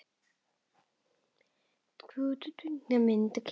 Hvað myndi sú kynslóð kjósa?